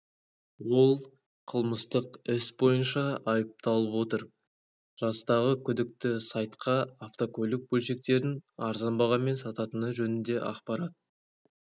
ол қылмыстық іс бойынша айыпталып отыр жастағы күдікті сайтқа автокөлік бөлшектерін арзан бағамен сататыны жөнінде ақпарат